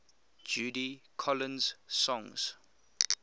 judy collins songs